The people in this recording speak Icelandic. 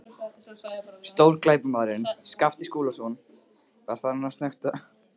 Stórglæpamaðurinn Skapti Skúlason var farinn að snökta!